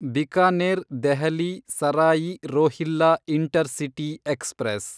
Bikaner Delhi Sarai Rohilla intercity express